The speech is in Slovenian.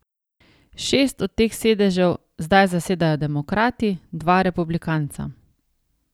Šest od teh sedežev zdaj zasedajo demokrati, dva republikanca.